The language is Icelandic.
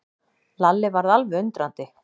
Lalli varð alveg undrandi.